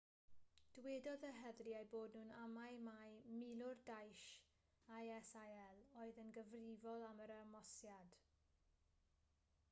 dywedodd yr heddlu eu bod nhw'n amau mai milwr daesh isil oedd yn gyfrifol am yr ymosodiad